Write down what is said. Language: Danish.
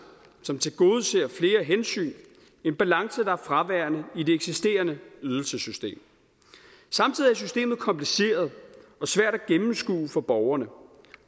som tilgodeser flere hensyn en balance der er fraværende i det eksisterende ydelsessystem samtidig er systemet kompliceret og svært at gennemskue for borgerne